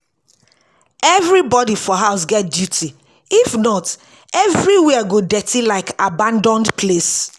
Everybody for house get duty, if not, everywhere go dirty like abandoned place.